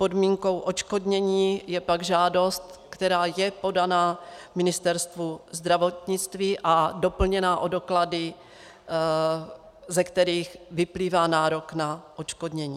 Podmínkou odškodnění je pak žádost, která je podaná Ministerstvu zdravotnictví a doplněná o doklady, ze kterých vyplývá nárok na odškodnění.